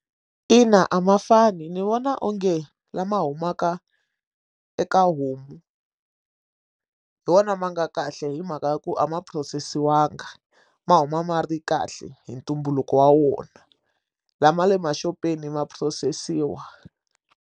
Ina a ma fani ni vona onge lama humaka eka homu hi wona ma nga kahle hi mhaka ya ku a ma phurosesiwanga ma huma ma ri kahle hi ntumbuluko wa wona lama le maxopeni ma phurosesiwa.